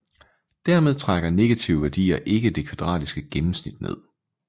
Dermed trækker negative værdier ikke det kvadratiske gennemsnittet ned